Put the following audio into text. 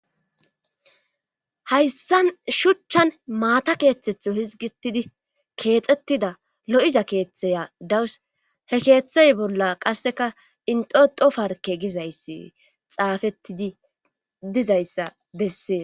Hayssan shuchchan maata keeththetho hizgitidi keexettida lo7iza keeththaya dawus he keeththay bolla qasseka inxoto farke gizayssi xaafettidi dizayssa bessee.